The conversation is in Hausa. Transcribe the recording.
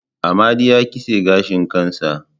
Amadi ya kitse gashin kansa